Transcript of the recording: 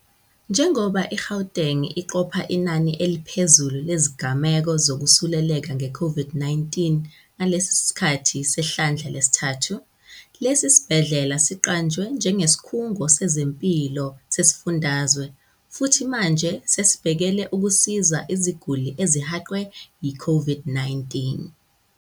Njengoba i-Gauteng iqopha inani eliphezulu lezigameko zokwesuleleka nge-COVID-19 ngalesi sikhathi sehlandla lesithathu, lesi sibhedlela siqanjwe njengesikhungo sezempilo sesifundazwe futhi manje sesibhekele ukusiza iziguli ezihaqwe yi-COVID-19.